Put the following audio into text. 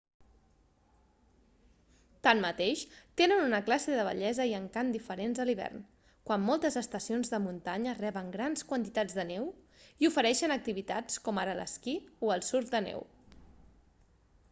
tanmateix tenen una classe de bellesa i encant diferents a l'hivern quan moltes estacions de muntanya reben grans quantitats de neu i ofereixen activitats com ara l'esquí o el surf de neu